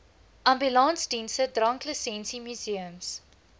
ambulansdienste dranklisensie museums